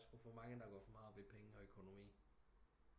Der er sku for mange der går op i penge og økonomi